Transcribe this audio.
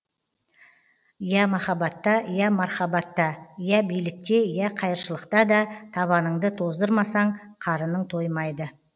я махаббатта я мархабатта я билікте я қайыршылықта да табаныңды тоздырмасаң қарының тоймайды